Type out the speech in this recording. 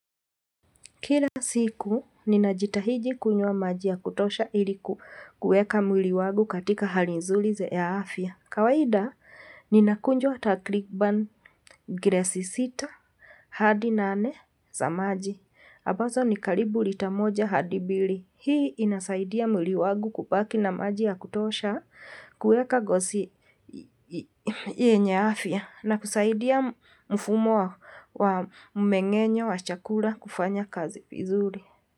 Kila siku, ninajitahidi kunywa maji ya kutosha iliku kueka mwili wangu katika hali nzuri ya afya. Kawaida, nina kunjwa takriban glesi sita hadi nane za maji. Ambazo ni karibu lita moja hadi mbili. Hii inasaidia mwili wangu kubaki na maji ya kutosha kuweka ngozi yenye afya. Na kusaidia mfumo wa mmeng'enyo wa chakula kufanya kazi vizuri.